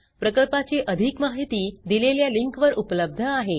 प्रकल्पाची अधिक माहिती दिलेल्या लिंकवर उपलब्ध आहे